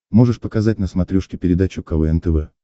можешь показать на смотрешке передачу квн тв